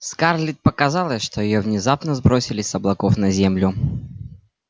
скарлетт показалось что её внезапно сбросили с облаков на землю